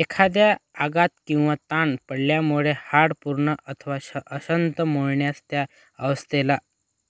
एखादा आघात किंवा ताण पडल्यामुळे हाड पूर्ण अथवा अंशत मोडल्यास त्या अवस्थेला